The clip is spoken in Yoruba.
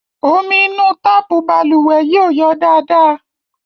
Omi inú táàpù balùwẹ̀ yìí ò yọ dáadáa.